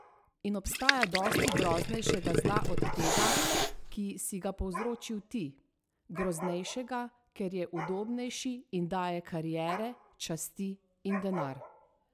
In obstaja dosti groznejšega zla od tega, ki si ga povzročil ti, groznejšega, ker je udobnejši in daje kariere, časti in denar.